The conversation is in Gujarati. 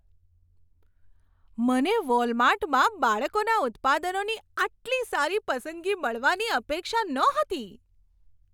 મને વોલમાર્ટમાં બાળકોના ઉત્પાદનોની આટલી સારી પસંદગી મળવાની અપેક્ષા નહોતી.